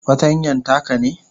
fartanyan taka ne?